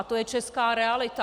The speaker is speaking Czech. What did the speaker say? A to je česká realita.